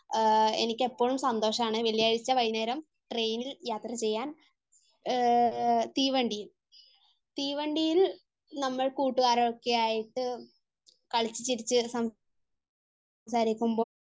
ആഹ് എനിക്ക് ഇപ്പോഴും സന്തോഷമാണ് വെള്ളിയാഴ്ച വൈകുന്നേരം ട്രെയിനിൽ യാത്ര ചെയ്യാൻ. തീവണ്ടിയിൽ. തീവണ്ടിയിൽ നമ്മൾ കൂട്ടുകാരൊക്കെ ആയിട്ട് കളിച്ചു ചിരിച്ചു സംസാരിക്കുമ്പോൾ